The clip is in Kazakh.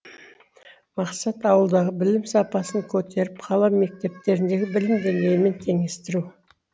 мақсат ауылдағы білім сапасын көтеріп қала мектептеріндегі білім деңгейімен теңестіру